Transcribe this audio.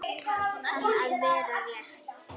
Kann að vera rétt.